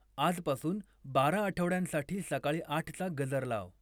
आजपासून बारा आठवड्यांसाठी सकाळी आठचा गजर लाव